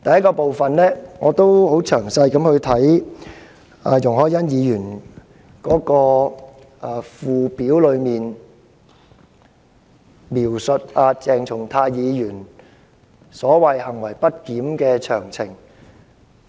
第一，我曾仔細研究容海恩議員所提議案的附表，當中載列了鄭松泰議員所謂的"行為不檢的詳情"。